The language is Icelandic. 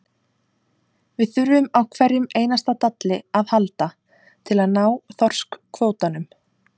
Við þurfum á hverjum einasta dalli að halda til að ná þorskkvótanum.